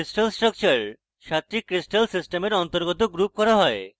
crystal structure সাতটি crystal systems অন্তর্গত group করা হয়